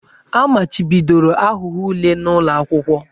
A machibidoro aghụghọ ule n'ụlọ akwụkwọ.